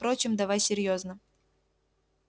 впрочем давай серьёзно